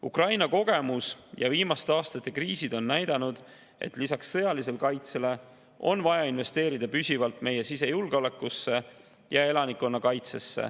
Ukraina kogemus ja viimaste aastate kriisid on näidanud, et lisaks sõjalisele kaitsele on vaja investeerida püsivalt meie sisejulgeolekusse ja elanikkonnakaitsesse.